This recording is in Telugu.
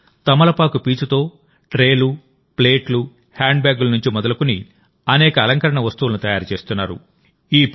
వారు తమలపాకు పీచుతో ట్రేలు ప్లేట్లు హ్యాండ్బ్యాగ్ల నుంచి మొదలుకొని అనేక అలంకరణ వస్తువులను తయారు చేస్తున్నారు